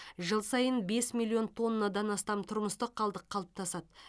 жыл сайын бес миллион тоннадан астам тұрмыстық қалдық қалыптасады